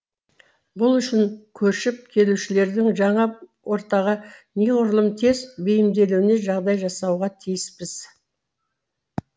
бұл үшін көшіп келушілердің жаңа ортаға неғұрлым тез бейімделуіне жағдай жасауға тиіспіз